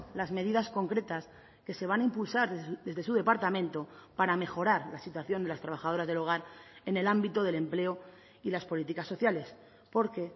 las medidas concretas que se van a impulsar desde su departamento para mejorar la situación de las trabajadoras del hogar en el ámbito del empleo y las políticas sociales porque